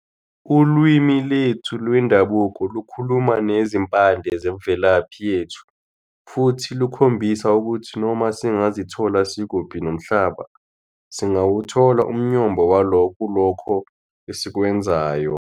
Ulwimi lwethu lwendabuko lukhuluma nezimpande zemvelaphi yethu, futhi lukhombisa ukuthi noma singazithola sikuphi nomhlaba, singawuthola umyombo walo kulokho esikwenzayo.